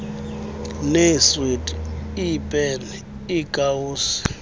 neeswiti iipeni iikawusi